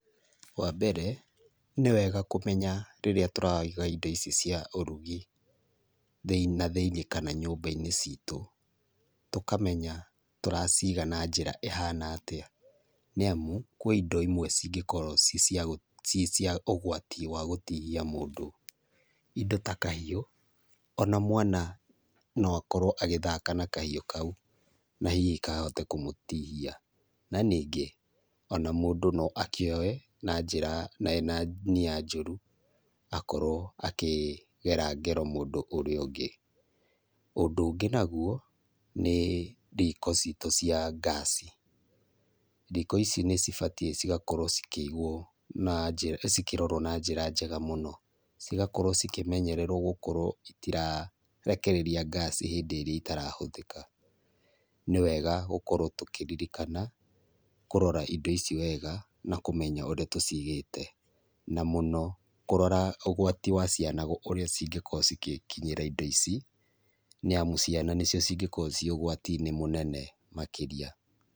Wambere nĩwega kũmenya rĩrĩa tũraiga indo ici cia ũrũgi na thĩiniĩ kana nyamba-inĩ citũ. Tũkamenya tũraciga na njĩra ihana atĩa. Nĩ amũ kwĩ indo imwe cingĩkorwo cicia ũgwati wa gũtihia mũndũ, indo ta kahiũ, ona mwana noakorwo agĩthaka na kahiũ kau na hihi kahota kũmũtihia na ningĩ, ona mũndũ no akĩoe na njĩra ena nia njũrũ akorwo akĩgera ngero mũndũ ũrĩa ũngĩ. Ũndĩ ũngĩ nagũo nĩ ndiko citũ cia ngaci, ndiko ici nĩcibatiĩ cigakorwo cikĩigwo na njĩra, cikĩrorwo na njĩra njega mũno, cigakorwo cikĩmenyererwo gũkorwo ĩtirarekereria ngaci hĩndĩĩrĩa itarahũthika. Nĩwega gũkorwo tũkĩririkana kũrora indo ici wega na kũmenya ũrĩa tũcigĩte na mũno kũrora ũgwati wa ciana gũkorwo ũrĩa cingĩkorwo cigĩkinyĩra indo ici. Nĩamũ ciana nĩcio cingĩkorwo ciugwati-inĩ mũno mũnene makĩria.